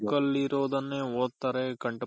book ಆಲ್ ಇರ್ರೊದನೆ ಓದ್ತಾರೆ